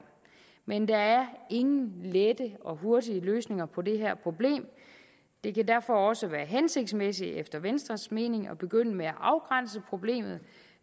men der er ingen lette og hurtige løsninger på det her problem det kan derfor også være hensigtsmæssigt efter venstres mening at begynde med at afgrænse problemet og